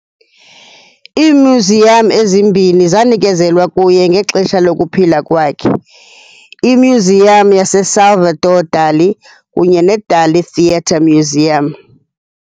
Iimyuziyam ezimbini zanikezelwa kuye ngexesha lokuphila kwakhe, iMyuziyam yaseSalvador Dali kunye neDalí theatre-museum.